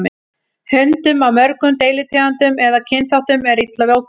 Hundum af mörgum deilitegundum eða kynþáttum er illa við ókunnuga.